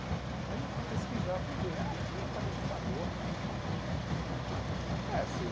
Aí eu fui pesquisar, fui ver, ah, tinha para digitador.